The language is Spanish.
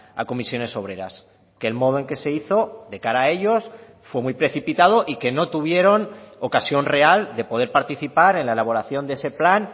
a comisiones obreras que el modo en que se hizo de cara a ellos fue muy precipitado y que no tuvieron ocasión real de poder participar en la elaboración de ese plan